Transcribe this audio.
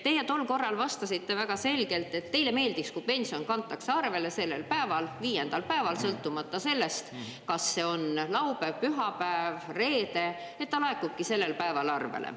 Teie tol korral vastasite väga selgelt, et teile meeldiks, kui pension kantakse arvele sellel päeval, viiendal päeval, sõltumata sellest, kas see on laupäev, pühapäev, reede, ta laekubki sellel päeval arvele.